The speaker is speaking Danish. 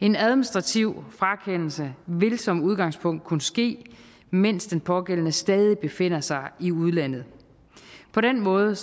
en administrativ frakendelse vil som udgangspunkt kunne ske mens den pågældende stadig befinder sig i udlandet på den måde